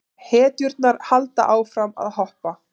Hetjurnar halda áfram að hoppa.